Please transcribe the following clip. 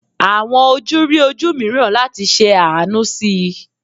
Awọn oju ri oju miiran lati ṣe aanu si i